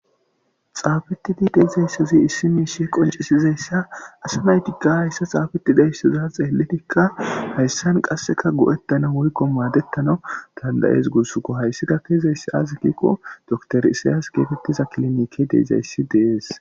Xaabetidi deizayssazi issimiishe qoncisizayssa asinaytika hayssa xaabetida issaza xeellitikka hayssan qasseka go7ettana woykko maadettana dandayees gursukko hayssida keizayssi azi kikko doktor isayas geetettiza kilinike deizayssi dees.